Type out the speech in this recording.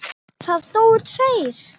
Það dóu tveir.